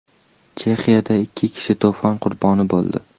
Chexiyada ikki kishi to‘fon qurboni bo‘ldi.